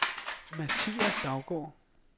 Mathias Daugaard